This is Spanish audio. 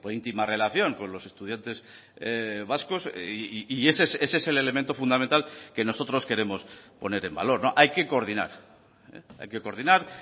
íntima relación con los estudiantes vascos y ese es el elemento fundamental que nosotros queremos poner en valor hay que coordinar hay que coordinar